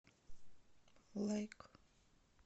лайк